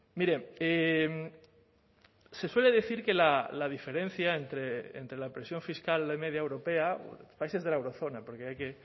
mire se suele decir que la diferencia entre la presión fiscal de media europea países de la eurozona porque hay que